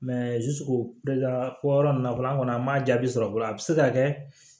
fɔ yɔrɔ ninnu fɔlɔ an kɔni an m'a jaabi sɔrɔ fɔlɔ a bi se ka kɛ